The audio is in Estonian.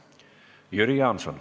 Jüri Jaanson.